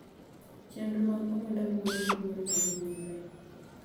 Chenro mag oganda luwore gi luor ma ji miyore.